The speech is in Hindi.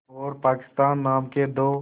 और पाकिस्तान नाम के दो